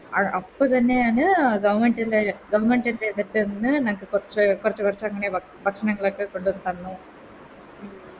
അപ്പൊ തന്നെയാണ് Government ലെ Sectors ന്ന് ഞങ്ങക്ക് കൊറച്ച് കൊർച്ച് കൊർച്ച് ഇങ്ങനെ ഭ ഭക്ഷണങ്ങളൊക്കെ കൊണ്ടത്തന്നു